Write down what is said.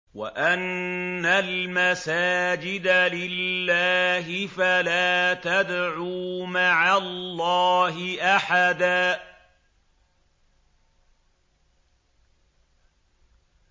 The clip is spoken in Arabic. وَأَنَّ الْمَسَاجِدَ لِلَّهِ فَلَا تَدْعُوا مَعَ اللَّهِ أَحَدًا